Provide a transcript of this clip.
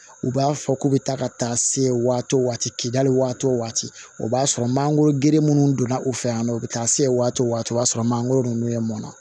U b'a fɔ k'u bɛ taa ka taa se waati o waati k'i dali waati o waati o b'a sɔrɔ mangoro gere minnu donna u fɛ yan nɔ u bɛ taa se waati o waati o b'a sɔrɔ mangoro ninnu ye mɔnna